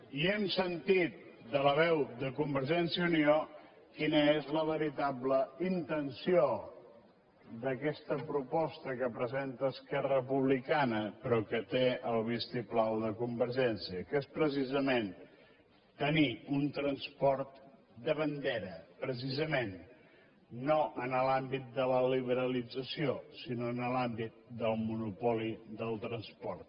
i hem sentit de la veu de convergència i unió quina és la veritable intenció d’aquesta proposta que presenta esquerra republicana però que té el vistiplau de convergència que és precisament tenir un transport de bandera precisament no en l’àmbit de la liberalització sinó en l’àmbit del monopoli del transport